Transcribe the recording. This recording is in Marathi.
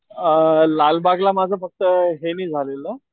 अ लालबागला माझं फक्त हे निघालेलं